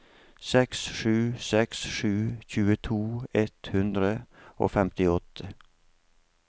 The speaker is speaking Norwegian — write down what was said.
seks sju seks seks tjueto ett hundre og femtiåtte